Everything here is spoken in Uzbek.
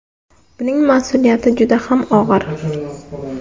Buning mas’uliyati juda ham og‘ir.